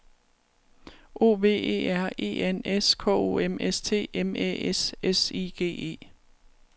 O V E R E N S K O M S T M Æ S S I G E